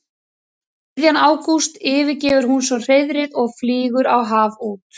Um miðjan ágúst yfirgefur hún svo hreiðrið og flýgur á haf út.